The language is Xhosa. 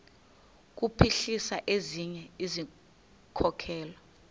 kuphuhlisa ezinye izikhokelo